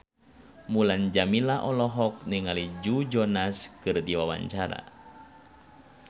Mulan Jameela olohok ningali Joe Jonas keur diwawancara